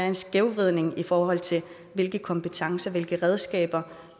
en skævvridning i forhold til hvilke kompetencer og hvilke redskaber